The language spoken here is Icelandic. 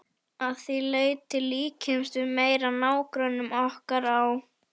Að því leyti líkjumst við meira nágrönnum okkar á